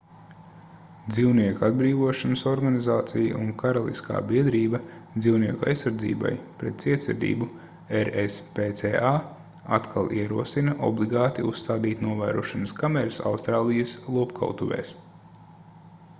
dzīvnieku atbrīvošanas organizācija un karaliskā biedrība dzīvnieku aizsardzībai pret cietsirdību rspca atkal ierosina obligāti uzstādīt novērošanas kameras austrālijas lopkautuvēs